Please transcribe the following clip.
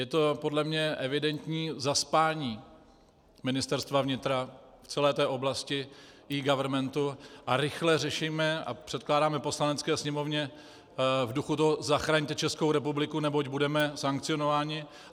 Je to podle mě evidentní zaspání Ministerstva vnitra v celé té oblasti eGovernmentu a rychle řešíme a předkládáme Poslanecké sněmovně v duchu toho "zachraňte Českou republiku, neboť budeme sankcionováni".